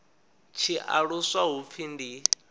tshi aluswa hu pfi ndi